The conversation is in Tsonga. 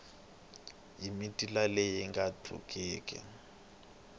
hi mitila leyi nga tluliki